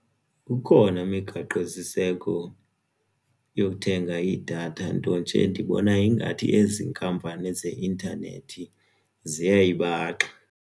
Ikhona imigaqosiseko yokuthenga idatha nto nje ndibona ingathi ezinkampani zeintanethi ziyayibaxa.